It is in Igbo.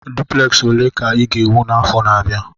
Dupleksi ole ka ị ga-ewu n'afọ na-abịa?